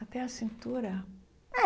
Até a cintura? É